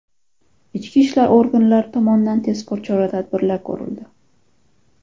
Ichki ishlar organlari tomonidan tezkor chora-tadbirlar ko‘rildi.